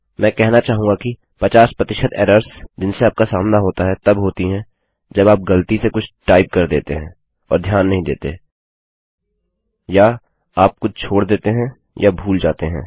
मैं कहना चाहूँगा कि 50 एरर्स जिनसे आपका सामना होता है तब होती हैं जब आप ग़लती से कुछ टाइप कर देते है और ध्यान नहीं देते या आप कुछ छोड़ देते हैं या भूल जाते हैं